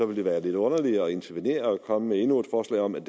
vil det være lidt underligt at intervenere og komme med endnu et forslag om